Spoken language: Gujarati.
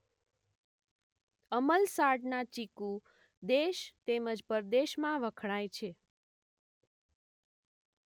અમલસાડનાં ચીકુ દેશ તેમ જ પરદેશમાં વખણાય છે.